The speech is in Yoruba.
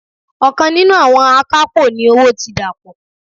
Okan ninu awon akapo ní owó ti dapo.